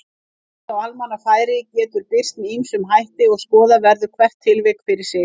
Nekt á almannafæri getur birst með ýmsum hætti og skoða verður hvert tilvik fyrir sig.